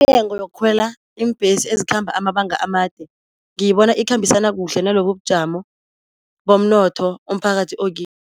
Yokukhwela iimbhesi ezikhamba amabanga amade ngiyibona ikhambisana kuhle nalobubujamo bomnotho umphakathi